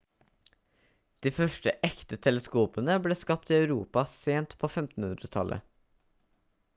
de første ekte teleskopene ble skapt i europa sent på 1500-tallet